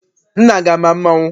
Nna gị ama mmanwụ?